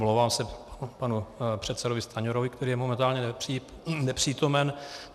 Omlouvám se panu předsedovi Stanjurovi, který je momentálně nepřítomen.